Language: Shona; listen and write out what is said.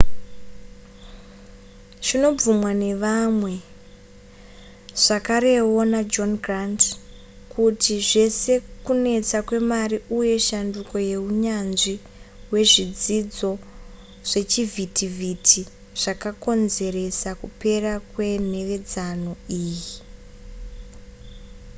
zvinobvumwa nevamwe zvakarewo najohn grant kuti zvese kunetsa kwemari uye shanduko muhunyanzvi hwezvidzidzo zvechivhitivhiti zvakakonzeresa kupera kwenhevedzano iyi